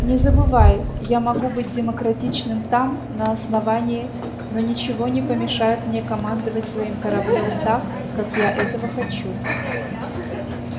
не забывай я могу быть демократичным там на основании но ничего не помешает мне командовать своим кораблём так как я этого хочу